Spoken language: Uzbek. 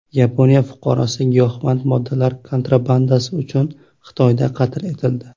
Yaponiya fuqarosi giyohvand moddalar kontrabandasi uchun Xitoyda qatl etildi.